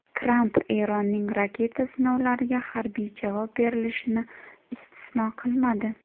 Tramp Eronning raketa sinovlariga harbiy javob berilishini istisno qilmadi.